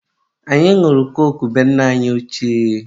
anyị nwụrụ koku na be nne anyi ochie.